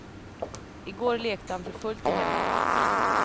I går lekte han för fullt i hemmet.